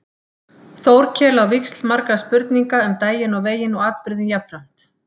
Þórkel á víxl margra spurninga um daginn og veginn og atburðinn jafnframt.